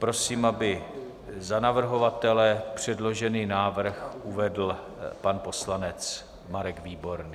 Prosím, aby za navrhovatele předložený návrh uvedl pan poslanec Marek Výborný.